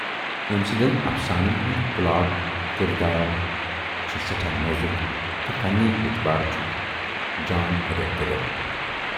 ٲمۍ سٕندٮ۪ن اَفسانَن ہُند پُلاٹ، کِردار چھے سٮ۪ٹھاہ نوٗزکھ تہٕ فنی اعتبارٕ چھُکھ جان اوٗبرٕ گوٗبر۔